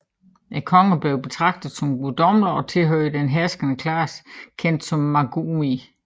Kongerne blev betragtet som guddommelige og tilhørte den herskende klasse kendt som Magumi